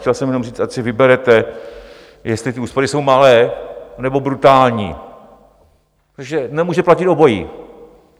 Chtěl jsem jenom říct, ať si vyberete, jestli ty úspory jsou malé, nebo brutální, protože nemůže platit obojí.